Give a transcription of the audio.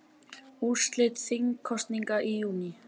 Úrslit þingkosninga í júní